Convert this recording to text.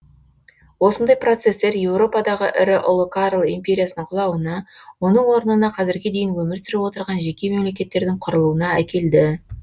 осындай процестер еуропадағы ірі ұлы карл империясының құлауына оның орнына қазірге дейін өмір сүріп отырған жеке мемлекеттердің құрылуына әкелді